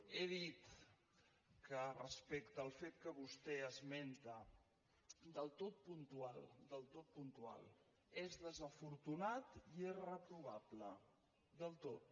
he dit que respecte al fet que vostè esmenta del tot puntual del tot puntual és desafortunat i és reprovable del tot